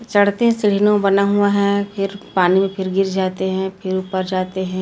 चढते बना हुआ है फिर पानी में फिर गिर जाते है फिर ऊपर जाते है।